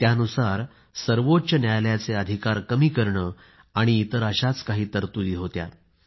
त्यानुसार सर्वोच्च न्यायालयाचे अधिकार कमी करणे आणि इतर अशाच काही तरतुदी होत्या